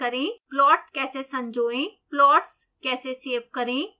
plot कैसे संयोएं